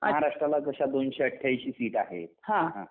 महाराष्ट्राला जशा दोनशेआठ्यांशी सीट आहेत हा